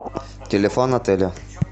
телефон отеля